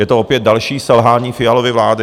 Je to opět další selhání Fialovy vlády!